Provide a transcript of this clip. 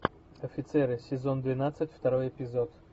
офицеры сезон двенадцать второй эпизод